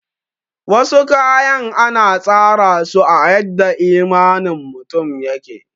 Wasu kayan ana tsara suna a yadda imanin mutum yake